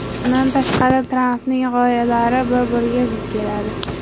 Bundan tashqari, Trampning g‘oyalari bir-biriga zid keladi.